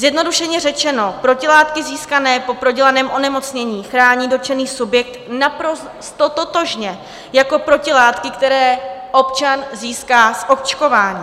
Zjednodušeně řečeno, protilátky získané po prodělaném onemocnění chrání dotčený subjekt naprosto totožně jako protilátky, které občan získá z očkování.